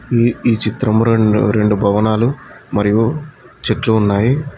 మీకు ఈ చిత్రంలో రెండు భవనాలు మరియు రెండు చెట్లు ఉన్నాయి.